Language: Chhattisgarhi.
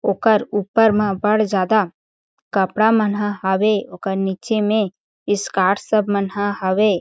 ओकर ऊपर म बड़ ज़्यादा कपड़ा मनहा हावे ओकर नीचे में स्कार्ट्स सब मनहा हवे।